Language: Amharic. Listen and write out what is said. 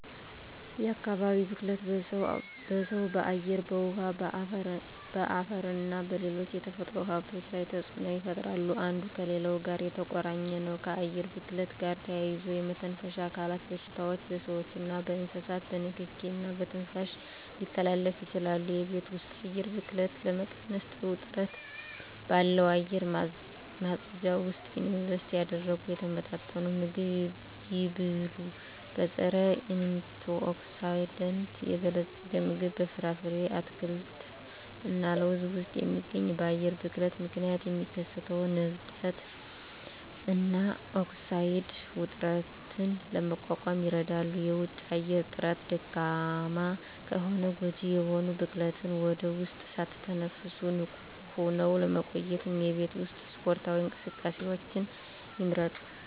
የአካባቢ ብክለት በሰው በአየር በውሀ በአፈርና በሌሎች የተፈጥሮ ሀብቶች ላይ ተፅኖ ይፈጥራሉ አንዱ ከሌላው ጋር የተቆራኘ ነው ከአየር ብክለት ጋር ተያይዞ የመተንፈሻ አካል በሽታዎች በስዎችና በእንስሳት በንኪኪ እና በትንፋሽ ሊተላለፉ ይችላሉ የቤት ውስጥ የአየር ብክለትን ለመቀነስ ጥሩ ጥራት ባለው አየር ማጽጃ ውስጥ ኢንቨስት ያድርጉ። የተመጣጠነ ምግብ ይብሉ; በፀረ-አንቲኦክሲዳንት የበለፀገ ምግብ (በፍራፍሬ፣ አትክልት እና ለውዝ ውስጥ የሚገኝ) በአየር ብክለት ምክንያት የሚከሰተውን እብጠት እና ኦክሳይድ ውጥረትን ለመቋቋም ይረዳል። የውጪ አየር ጥራት ደካማ ከሆነ ጎጂ የሆኑ ብክለትን ወደ ውስጥ ሳትተነፍሱ ንቁ ሆነው ለመቆየት የቤት ውስጥ ስፖርታዊ እንቅስቃሴዎችን ይምረጡ።